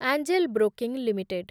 angel Broking limited